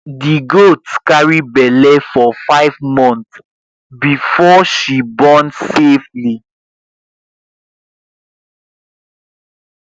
the goat carry belle for five months before she born safely